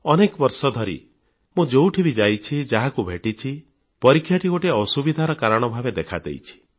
ଅନେକ ବର୍ଷ ଧରି ମୁଁ ଯେଉଁଠି ବି ଯାଇଛି ଯାହାକୁ ଭେଟିଛି ପରୀକ୍ଷାଟି ଗୋଟିଏ ଅସୁବିଧାର କାରଣ ଭାବରେ ଦେଖା ଦେଇଛି